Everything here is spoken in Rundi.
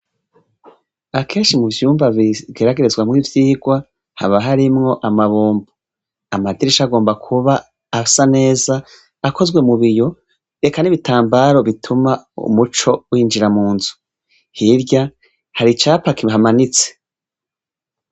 Akeshi mu vyumba bigeragerezwa mw'ivyigwa haba harimwo amabombo amadirisha agomba kuba asa neza akozwe mu biyo reka n'ibitambaro bituma umuco winjira mu nzu hirya hari capa kihamanitse.